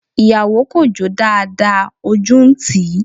Ìyàwó kò jó dáadáa, ojú ń tíì.